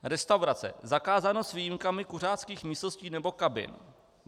Restaurace, zakázáno s výjimkami kuřáckých místností nebo kabin.